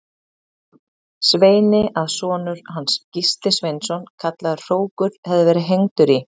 Sveini að sonur hans, Gísli Sveinsson kallaður hrókur, hefði verið hengdur í